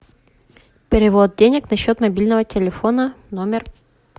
перевод денег на счет мобильного телефона номер